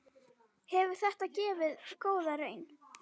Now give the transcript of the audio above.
Hefur þetta gefið góða raun?